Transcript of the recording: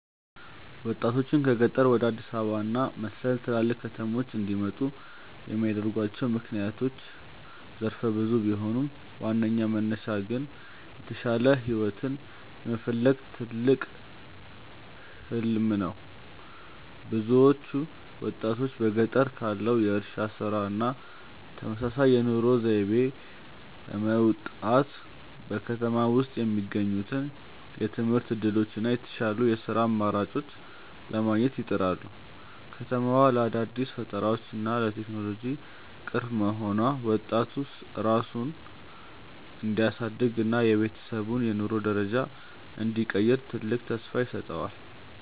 ወጣቶችን ከገጠር ወደ አዲስ አበባ እና መሰል ትላልቅ ከተሞች እንዲመጡ የሚያደርጓቸው ምክንያቶች ዘርፈ ብዙ ቢሆኑም፣ ዋናው መነሻ ግን የተሻለ ህይወትን የመፈለግ ትልቅ "ህሊም" ነው። ብዙዎቹ ወጣቶች በገጠር ካለው የእርሻ ስራ እና ተመሳሳይ የኑሮ ዘይቤ በመውጣት፣ በከተማ ውስጥ የሚገኙትን የትምህርት እድሎች እና የተሻሉ የስራ አማራጮችን ለማግኘት ይጥራሉ። ከተማዋ ለአዳዲስ ፈጠራዎች እና ለቴክኖሎጂ ቅርብ መሆኗ፣ ወጣቱ ራሱን እንዲያሳድግ እና የቤተሰቡን የኑሮ ደረጃ እንዲቀይር ትልቅ ተስፋ ይሰጠዋል።